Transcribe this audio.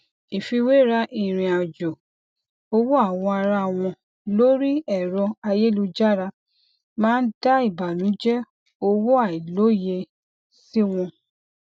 ìfíwéra ìrìnàjò owó àwọn ará wọn lórí ẹrọ ayélujára máa ń dá ìbànújẹ owó àìlòyé sí wọn